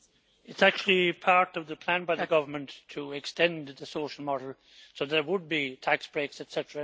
It is actually part of the plan by the government to extend the social model, so there would be tax breaks etc.,